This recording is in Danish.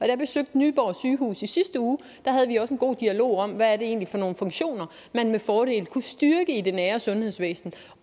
jeg besøgte nyborg sygehus i sidste uge havde vi også en god dialog om hvad det egentlig er for nogen funktioner man med fordel kunne styrke i det nære sundhedsvæsen